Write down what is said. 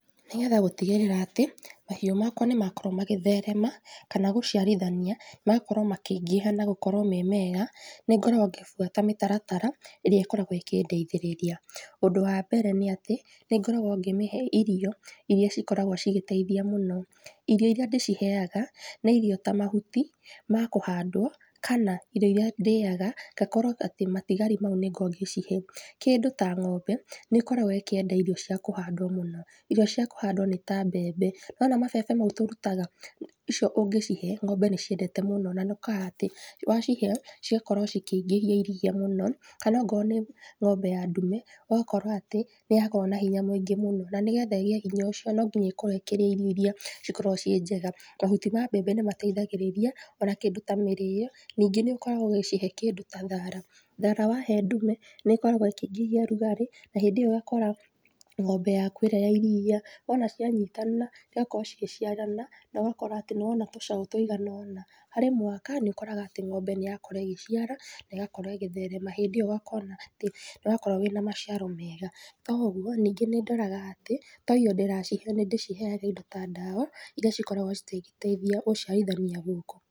Nĩgetha gũtigĩrĩra atĩ mahiũ makwa nĩmakorwo magĩtherema, kana gũciarithania, magakorwo makĩingĩha na gũkorwo marĩ mega, nĩngoragwo ngĩbuata mĩtaratara, ĩrĩa ĩkoragwo ĩkĩndeithĩrĩria. Ũndũ wa mbere nĩ atĩ, nĩngoragwo ngĩmĩhe irio iria cikoragwo cigĩteithia mũno. Irio iria ndĩciheaga nĩ irio ta mahuti ma kũhandwo, kana irio iria ndĩaga ngakorwo atĩ matigari maũ nĩ ngoragwa ngĩcihe. Kĩndũ ta ngombe nĩikoragwo ĩkienda irio cia kũhandwo mũno. Irio cia kũhandwo nĩ ta mbembe. Niwona mabebe maũ tũrutaga, icio ũngĩ cihe ngombe nĩciendete mũno na nĩokoraga atĩ wacihe, cigakorwo cikiingĩhia iria mũno kana okorwo nĩ ngombe ya ndume, ũgakora atĩ nĩyakorwo na hinya mũingĩ mũno, na nĩgetha ĩgĩe hinya ũcio no nginya ĩkorwo ĩkirĩa irio iria cikoragwo irĩ njega. Mahuti ma mbembe nĩmateithagirĩria ona kĩndũ ta mĩrio. Ningĩ nĩũkoragwo ũgĩcihe kĩndũ ta thara. Thara wahe ndume nĩkoragwo ĩkĩingĩria rugarĩ na hĩndĩ ĩyo ũgakora ngombe yaku ĩrĩa ya iria. Wona cianyitana cigakorwo igĩciarana na ũgakora atĩ nĩwona tũcaũ tũigananona. Harĩ mwaka nĩũkoraga atĩ ngombe nĩyakorwo ĩgĩciara na ĩgakorwo ĩgĩtherema. Hindĩ ĩyo ũkona atĩ nĩwakorwo wĩna maciaro mega. To ũguo ningĩ nĩndoraga atĩ to irio ndĩracihe nĩndĩciheaga indo ta ndawa iria cikoragwo cigĩteithia gũciarithania gũkũ.